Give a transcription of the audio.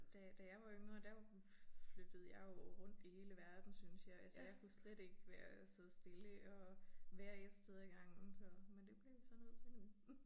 Da da jeg var yngre der flyttede jeg jo rundt i hele verden syntes jeg altså jeg kunne slet ikke være sidde stille og være 1 sted ad gangen så men det bliver vi så nødt til nu